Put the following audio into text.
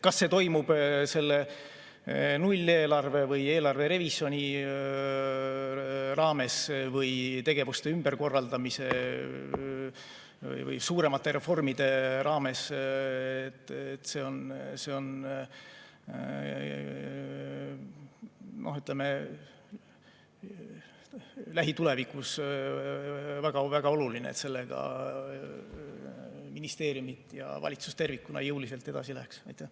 Kas see toimub selle nulleelarve või eelarve revisjoni raames või tegevuste ümberkorraldamise või suuremate reformide raames, aga see on lähitulevikus väga oluline, et ministeeriumid ja valitsus tervikuna jõuliselt sellega edasi läheksid.